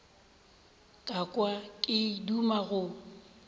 ka kwa ke duma go